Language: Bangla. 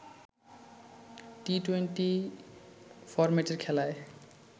টি-টোয়েন্টি ফরম্যাটের খেলায়